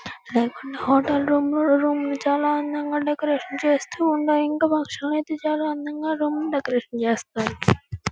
Hotel room లో room లు చాల అందంగా డెకరేషన్ చేస్తూ ఉన్నాయ్. ఇంకా రూమ్ ని చాలా అందంగా డెకరేషన్ చేస్తాఋ.